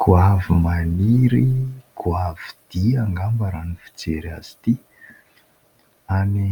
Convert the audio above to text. Goavy maniry goavy dia angamba raha ny fijery azy ity, any